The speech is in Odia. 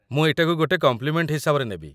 ମୁଁ ଏଇଟାକୁ ଗୋଟିଏ କମ୍ପ୍ଲିମେଣ୍ଟ୍ ହିସାବରେ ନେବି ।